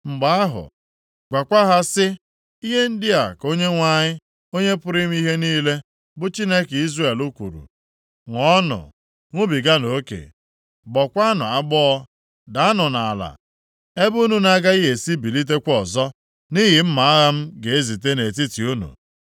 “Mgbe ahụ, gwakwa ha sị, ‘Ihe ndị a ka Onyenwe anyị, Onye pụrụ ime ihe niile, bụ Chineke Izrel kwuru: Ṅụọnụ, ṅụbiganụ oke; gbọọkwanụ agbọọ, daanụ nʼala ebe unu na-agaghị esi bilitekwa ọzọ, nʼihi mma agha m ga-ezite nʼetiti unu.’